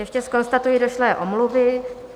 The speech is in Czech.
Ještě konstatuji došlé omluvy.